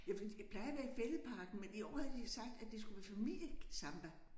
Ja for plejer at være i Fælledparken men i år havde de sagt at det skulle være familiesamba